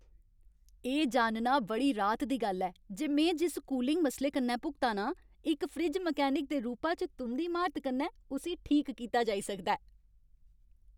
एह् जानना बड़ी राहत दी गल्ल ऐ जे में जिस कूलिंग मसले कन्नै भुगता ना आं, इक फ्रिज मैकेनिक दे रूपा च तुं'दी म्हारत कन्नै उस्सी ठीक कीता जाई सकदा ऐ।